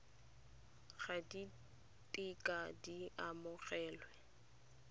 ga di kitla di amogelwa